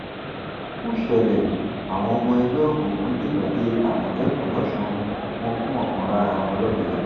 ó ṣẹlẹ àwọn ọmọ ẹgbẹ òkùnkùn dènà dé àmọtẹkùn lọsùn wọn gún ọkan lára wọn lọbẹ